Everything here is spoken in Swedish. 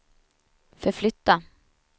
förflytta